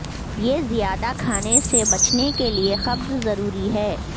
یہ زیادہ کھانے سے بچنے کے لئے قبض ضروری ہے